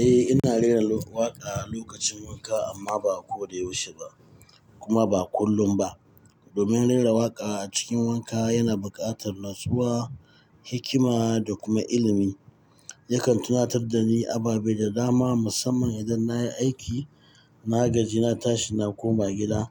Eh, ina rera waƙa a lokacin wanka amma ba ko da yaushe ba kuma ba kullum ba. Domin rera waƙa a cikin wanka yana buƙatar natsuwa, hikima da kuma ilimi. Yakan tunatar da ni ababe da dama, musamman idan na yi aiki, na gaji, na tashi na koma gida.